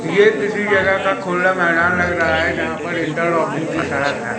ये किसी जगह का खुला मैदान लग रहा है जहां पर इंटरलॉकिंग की सड़क है।